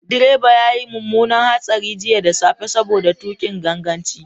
Direba ya yi mummunar hatsari jiya da safe saboda tuƙin ganganci.